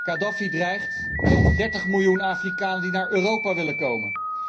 Khadafi dreigt met 30 miljoen Afrikanen die naar Europa willen komen.